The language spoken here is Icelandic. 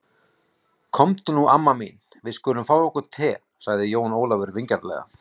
Komdu nú amma mín, við skulum fá okkur te, sagði Jón Ólafur vingjarnlega.